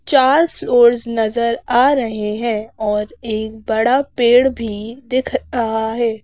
चार फ्लोर्स नजर आ रहे हैंऔर एक बड़ा पेड़ भी दिख अहा है ।